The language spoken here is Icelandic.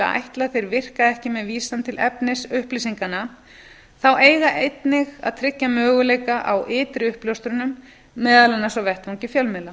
ætla að þeir virki ekki með vísan til efnis upplýsinganna þá eigi einnig að tryggja möguleika á ytri uppljóstrun meðal annars á vettvangi fjölmiðla